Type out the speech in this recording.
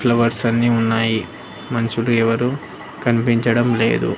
Flowers అన్ని ఉన్నాయి మనుషులు ఎవరు కనిపించడం లేదు.